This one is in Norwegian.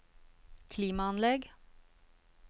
klimaanlegg